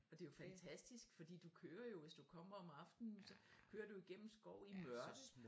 Og det er jo fantastisk fordi du kører jo hvis du kommer om aftenen så kører du jo igennem skov i mørke